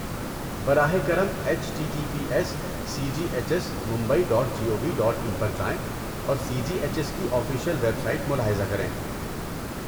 براہ کرم، H T T P S C G H S Mumbai dot G O V dot in پر جائیں اور سی جی ایچ ایس کی official website ملاحظہ کریں